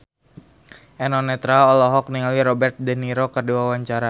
Eno Netral olohok ningali Robert de Niro keur diwawancara